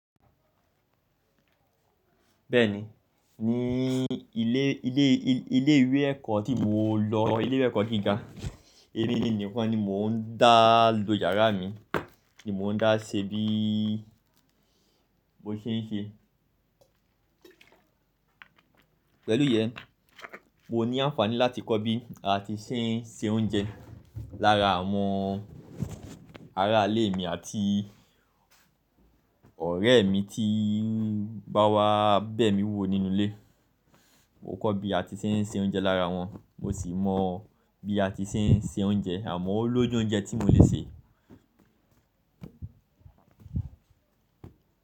Bẹ́ẹ̀ni, ní ilé, ilé, ilé ìwé ẹ̀kọ́ tí mo lọ, ilé ìwé ẹ̀kọ́ gíga, emi nìkan ni mò ń dá lọ yàrá mi ni mò ń dá ṣebí mo ṣe ń ṣe. Pẹ̀lú yẹn, mo ní àǹfààní láti kọ́ bí a ti ṣe ń se oúnjẹ lára àwọn ará ilé mi àti ọ̀rẹ́ mi tí ń báwa bẹ̀ mí wò nínú ilé. Mo kọ́ bí a ti ṣe ń se oúnjẹ lára wọn, mo sì mọ bí a ti ṣe ń se oúnjẹ, àmọ́ ó lójú oúnjẹ tí mo lè se.